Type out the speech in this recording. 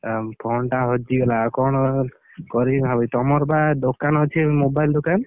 ଆ phone ଟା ହଜିଗଲା। ଆଉ କଣ, କରିବି ଭାବୁଛି। ତମର ବା ଦୋକାନ ଅଛି mobile ଦୋକାନ?